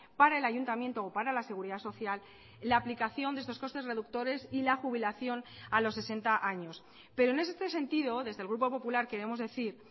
para el ayuntamiento o para la seguridad social la aplicación de estos costes reductores y la jubilación a los sesenta años pero en este sentido desde el grupo popular queremos decir